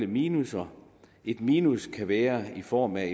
minusser et minus kan være i form af